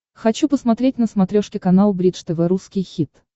хочу посмотреть на смотрешке канал бридж тв русский хит